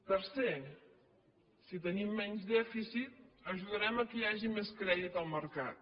tercer si tenim menys dèficit ajudarem que hi hagi més crèdit al mercat